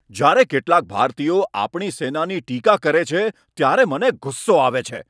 જ્યારે કેટલાક ભારતીયો આપણી સેનાની ટીકા કરે છે, ત્યારે મને ગુસ્સો આવે છે.